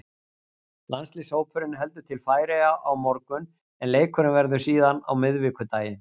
Landsliðshópurinn heldur til Færeyja á morgun en leikurinn verður síðan á miðvikudaginn.